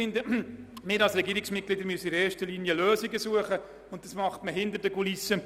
Ich finde, dass wir als Regierungsmitglieder primär Lösungen suchen müssen, und dies geschieht hinter den Kulissen.